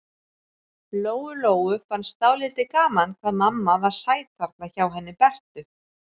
Lóu-Lóu fannst dálítið gaman hvað mamma var sæt þarna hjá henni Bertu.